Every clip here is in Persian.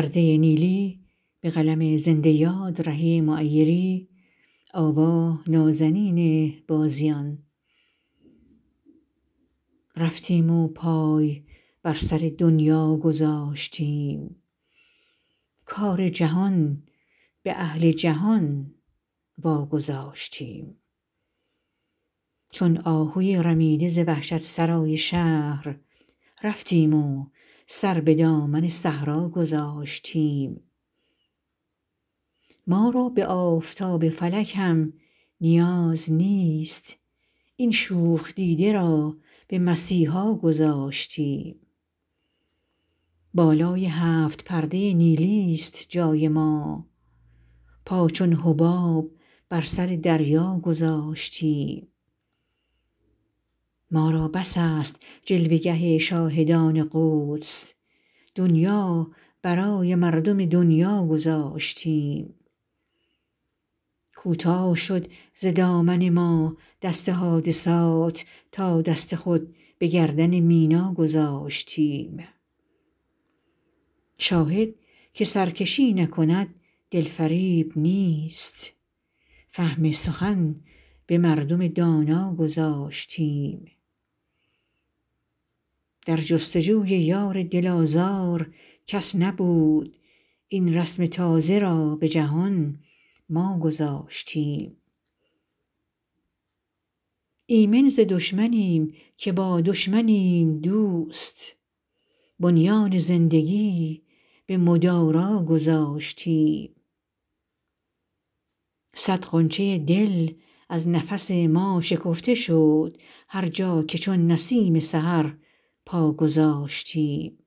رفتیم و پای بر سر دنیا گذاشتیم کار جهان به اهل جهان واگذاشتیم چون آهوی رمیده ز وحشت سرای شهر رفتیم و سر به دامن صحرا گذاشتیم ما را به آفتاب فلک هم نیاز نیست این شوخ دیده را به مسیحا گذاشتیم بالای هفت پرده نیلی است جای ما پا چون حباب بر سر دریا گذاشتیم ما را بس است جلوه گه شاهدان قدس دنیا برای مردم دنیا گذاشتیم کوتاه شد ز دامن ما دست حادثات تا دست خود به گردن مینا گذاشتیم شاهد که سرکشی نکند دل فریب نیست فهم سخن به مردم دانا گذاشتیم در جستجوی یار دل آزار کس نبود این رسم تازه را به جهان ما گذاشتیم ایمن ز دشمنیم که با دشمنیم دوست بنیان زندگی به مدارا گذاشتیم صد غنچه دل از نفس ما شکفته شد هرجا که چون نسیم سحر پا گذاشتیم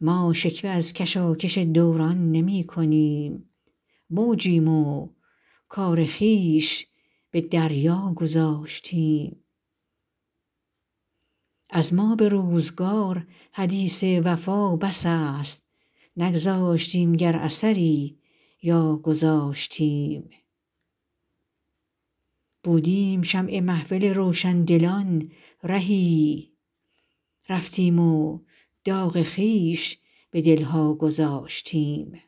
ما شکوه از کشاکش دوران نمی کنیم موجیم و کار خویش به دریا گذاشتیم از ما به روزگار حدیث وفا بس است نگذاشتیم گر اثری یا گذاشتیم بودیم شمع محفل روشندلان رهی رفتیم و داغ خویش به دل ها گذاشتیم